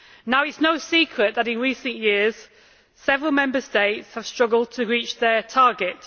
It is no secret that, in recent years, several Member States have struggled to reach their target.